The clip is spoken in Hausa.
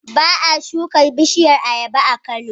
Ba a shuka bishiyar ayaba a Kano,